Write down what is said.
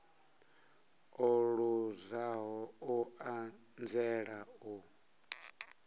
o luzaho u anzela u